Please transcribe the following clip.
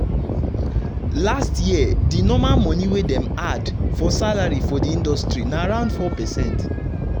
last year de normal monie wey dem add for salary for di industry na around 4%